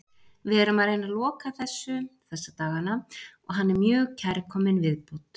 Við erum að reyna að loka þessu þessa dagana og hann er mjög kærkominn viðbót.